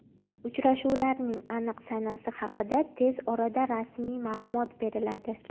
Uchrashuvlarning aniq sanasi haqida tez orada rasmiy ma’lumot beriladi.